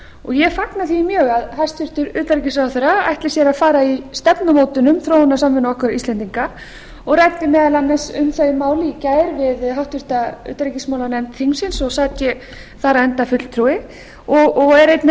og ég fagna því mjög að hæstvirtur utanríkisráðherra ætli sér að fara í stefnumótun um þróunarsamvinnu okkar íslendinga og ræddi meðal annars um þau mál í gær við háttvirtri utanríkismálanefnd þingsins og sat ég þar enda fulltrúi og er einnig